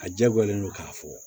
A diyagoyalen don k'a fɔ